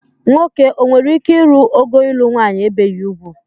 Nwoke o nwere ike ịrụ ogo ịlụ nwanyị ebeghi ugwu?